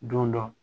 Don dɔ